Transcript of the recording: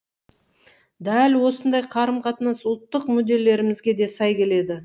дәл осындай қарым қатынас ұлттық мүдделерімізге де сай келеді